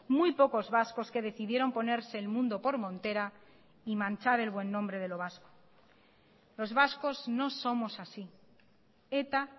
muy pocos vascos que decidieron ponerse el mundo por montera y manchar el buen nombre de lo vasco los vascos no somos así eta